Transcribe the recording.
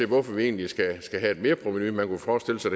hvorfor vi egentlig skal have et merprovenu man kunne forestille sig